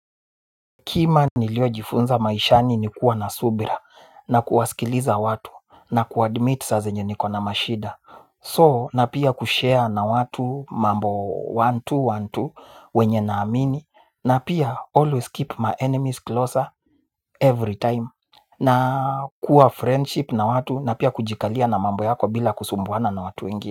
Kima niliojifunza maishani ni kuwa na subira na kuwasikiliza watu na kuadmit saa zenye niko na mashida So na pia kushare na watu mambo moja, mbili, moja, mbili wenye na amini na pia always keep my enemies closer every time. Na kuwa friendship na watu na pia kujikalia na mambo yako bila kusumbuana na watu wengi.